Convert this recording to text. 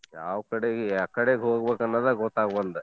ಯಾವ್ ಕಡೆಗೆ ಯಾಕಡೆ ಹೋಗ್ಬೆಕ್ ಅನ್ನದ ಗೊತ್ತಾಗ್ ಬಂದೆ.